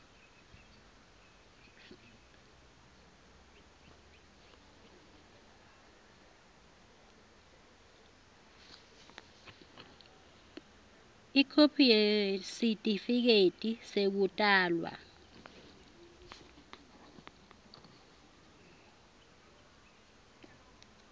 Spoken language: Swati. ikhophi yesitifiketi sekutalwa